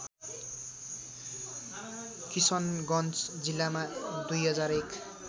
किशनगञ्ज जिल्लामा २००१